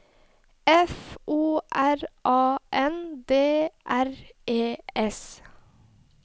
F O R A N D R E S